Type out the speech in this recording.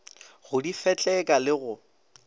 go di fetleka le go